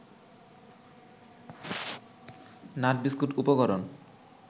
nut biscuit উপকরণ